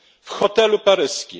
w hotelu paryskim.